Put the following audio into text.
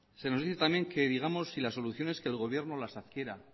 se nos dice también que digamos si la solución es que el gobierno las adquiera